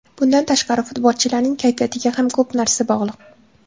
Bundan tashqari, futbolchilarning kayfiyatiga ham ko‘p narsa bog‘liq”.